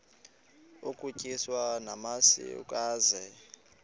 utyiswa namasi ukaze